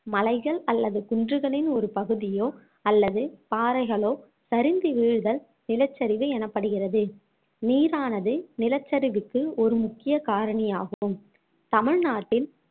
மலைகள் அல்லது குன்றுகளின் ஒரு பகுதியோ அல்லது பாறைகளோ சரிந்து வீழ்தல் நிலச்சரிவு எனப்படுகிறது நீரானது நிலச்சரிவுக்கு ஒரு முக்கிய காரணியாகும் தமிழ்நாட்டில்